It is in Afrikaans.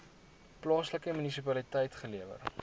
plaaslike munisipaliteit gelewer